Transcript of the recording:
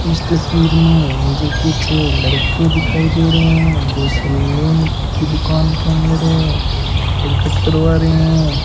इस तस्वीर में मुझे कुछ लड़के दिखाई दे रहे हैं जो सैलून की दुकान के अंदर हैं हेयर कट करवा रहे हैं।